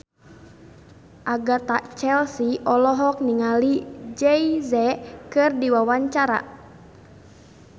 Agatha Chelsea olohok ningali Jay Z keur diwawancara